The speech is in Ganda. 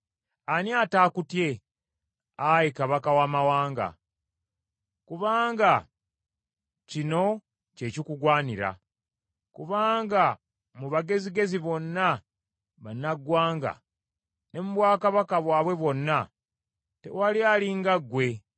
Ani ataakutye, Ayi Kabaka w’amawanga? Kubanga kino kye kikugwanira. Kubanga mu bagezigezi bonna bannaggwanga ne mu bwakabaka bwabwe bwonna tewali ali nga ggwe.